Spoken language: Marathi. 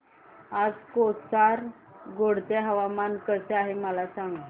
आज कासारगोड चे हवामान कसे आहे मला सांगा